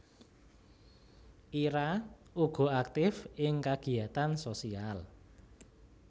Ira uga aktif ing kagiyatan sosial